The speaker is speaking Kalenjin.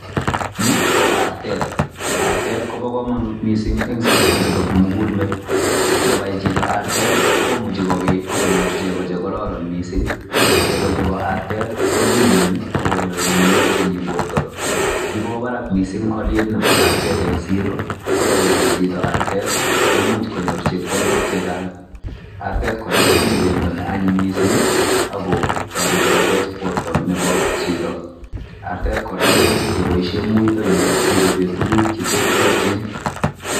Ni ko artet, artet kobo komonut mssinyen sobetab kimugul met. Yebai chito artet i komuch kogei akonyoor chegoo chekororon missing, chegoo chebo arteet ko kimen ak konyoi mionwogik chemi bortoo. Ki kwo barak missing alietab art et eng siroo, ako yebai chito arteet i komuch konyoor chepkondook chechang. Arteet kora kotinye bendoo neanyiny kot missing i,ako torete kotech bortoo nebo chito. Artet kora koimuch keboishien muitonyin kechoben tuguuk che terterchin.